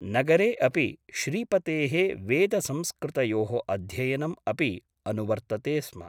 नगरे अपि श्रीपतेः वेदसंस्कृतयोः अध्ययनम् अपि अनुवर्तते स्म ।